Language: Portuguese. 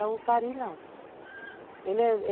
Já o cari não, ele